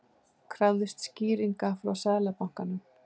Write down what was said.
Krafðist skýringa frá Seðlabankanum